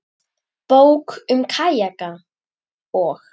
Bók um kajaka og.